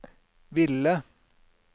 ville